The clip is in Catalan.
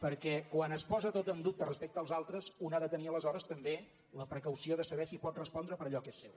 perquè quan es posa tot en dubte respecte als altres un ha de tenir aleshores també la precaució de saber si pot respondre per allò que és seu